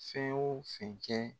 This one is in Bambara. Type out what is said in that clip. Fɛn o fɛn kɛ